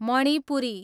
Manipuri